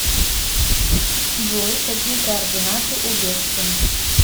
джой какие координаты у гессен